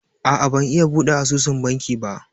A'a ban iya buɗe asusun banki ba